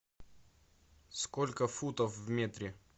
сколько футов в метре